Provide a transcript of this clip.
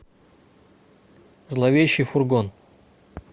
зловещий фургон